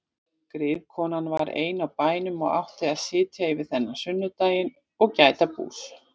Griðkonan var ein á bænum og átti að sitja yfir þennan sunnudaginn og gæta bús.